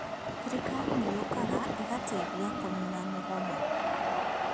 Thirikarĩ nĩ yũkaga ĩgateithia kũnina mũgomo